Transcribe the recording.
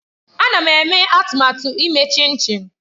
Ana m eme atụmatụ ime chinchi